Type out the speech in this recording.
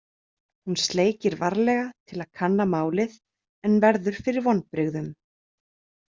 Hún sleikir varlega til að kanna málið en verður fyrir vonbrigðum.